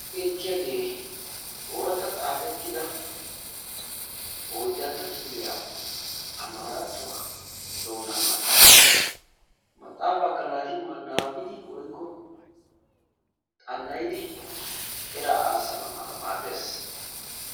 beettiyagee ooratta xaafettida oydantta kifiliya amaaratuwa maxaafaa. Ha maxaafaakka naati xana"idi eraa aasana mala maaddees.